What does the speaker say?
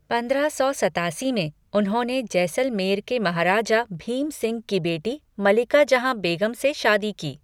पंद्रह सौ सत्तासी में, उन्होंने जैसलमेर के महाराजा भीम सिंह की बेटी मलिका जहां बेगम से शादी की।